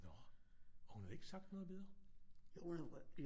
Nå og hun havde ikke sagt noget videre